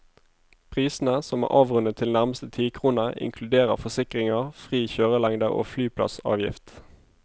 Prisene, som er avrundet til nærmeste tikrone, inkluderer forsikringer, fri kjørelengde og flyplassavgift.